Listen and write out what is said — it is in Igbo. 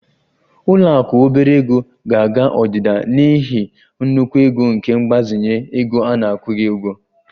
Ụlọ akụ obere ego ga-aga odida n'ihi nnukwu ego nke mgbazinye ego a na-akwụghị ụgwọ